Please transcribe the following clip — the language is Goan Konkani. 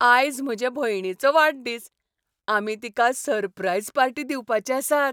आयज म्हजे भयणीचो वाडदीस. आमी तिका सरप्राईज पार्टी दिवपाचे आसात.